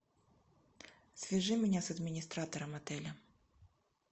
свяжи меня с администратором отеля